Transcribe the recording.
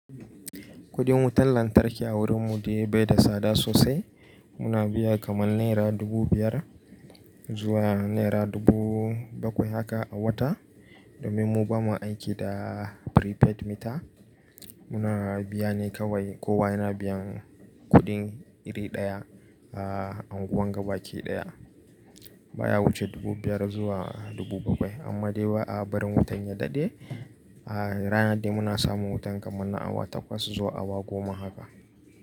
Kudin wutan lantarki a wurinmu dai bai da tsada sosai. Muna biya kamar naira dubu biyar zuwa naira dubu bakwai haka a wata. Domin mu bamu aiki da prepaid meter, muna biya ne kawai. Kowa yana biyan kuɗin iri ɗaya a unguwar gaba ke ɗaya. Ba ya wuce dubu biyar zuwa dubu bakwai. Amma dai ba a barin wutan ya daɗe. A ranar dai muna samun wutan kamar na awa takwas zuwa awa goma haka.